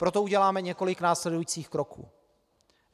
Proto uděláme několik následujících kroků.